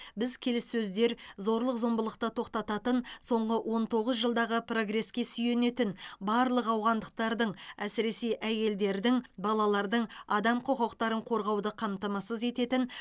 біз келіссөздер зорлық зомбылықты тоқтататын соңғы он тоғыз жылдағы прогреске сүйенетін барлық ауғандықтардың әсіресе әйелдердің балалардың адам құқықтарын қорғауды қамтамасыз ететін